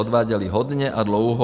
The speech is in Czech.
Odváděly hodně a dlouho.